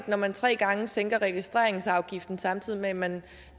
når man tre gange sænker registreringsafgiften samtidig med at man